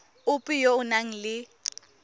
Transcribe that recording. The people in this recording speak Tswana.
ope yo o nang le